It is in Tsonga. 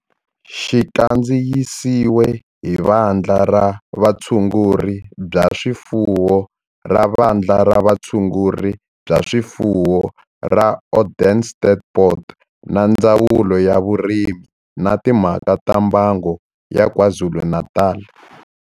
Xi kandziyisiwe hi Vandla ra Vutshunguri bya swifuwo ra Vandla ra Vutshunguri bya swifuwo ra Onderstepoort na Ndzawulo ya Vurimi na Timhaka ta Mbango ya KwaZulu-Natal.